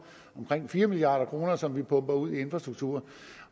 omkring fire milliard kr som vi pumper ud i infrastrukturen